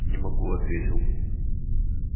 не могу ответил